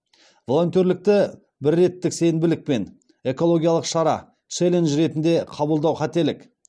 волонтерлікті бірреттік сенбілік пен экологиялық шара челлендж ретінде қабылдау қателік